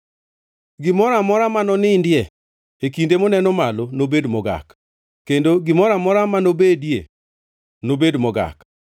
“ ‘Gimoro amora manonindie e kinde moneno malo nobed mogak, kendo gimoro amora manobedie nobed mogak.